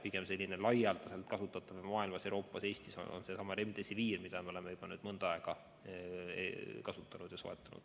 Ainus laialdaselt kasutatav mujal maailmas ja Euroopas, samuti Eestis on seesama Remdesivir, mida me oleme juba mõnda aega kasutanud ja soetanud.